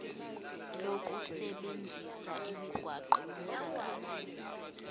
lokusebenzisa imigwaqo yomphakathi